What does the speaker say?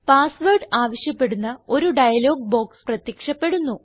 pass word ആവശ്യപ്പെടുന്ന ഒരു dialogue box പ്രത്യക്ഷപ്പെടുന്നു